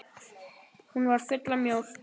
Hún var full af mjólk!